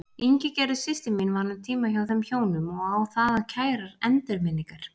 Ingigerður systir mín vann um tíma hjá þeim hjónum og á þaðan kærar endurminningar.